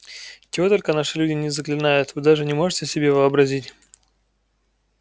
чего только наши люди не заклинают вы даже не можете себе вообразить